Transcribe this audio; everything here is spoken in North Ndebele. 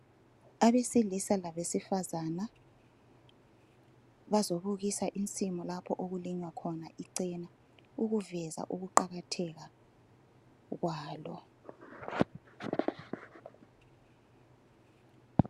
Abesilisa labesifazana bazobukisa insimu lapho okulinywa khona ichena ukuveza ukuqakatheka kwalo